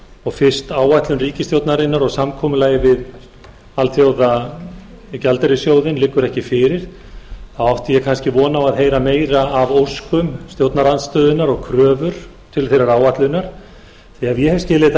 og fyrst áætlun ríkisstjórnarinnar og samkomulagið við alþjóðagjaldeyrissjóðinn liggur ekki fyrir þá átti ég kannski von á að heyra meira af óskum stjórnarandstöðunnar og kröfur til þeirrar áætlunar ef ég hef skilið þetta